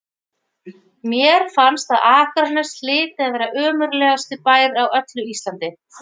Mér fannst að Akranes hlyti að vera ömurlegasti bær á öllu Íslandi.